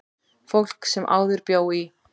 Fólk sem áður bjó í